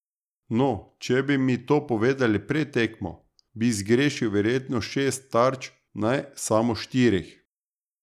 No, če bi mi to povedali pred tekmo, bi zgrešil verjetno šest tarč, ne samo štirih.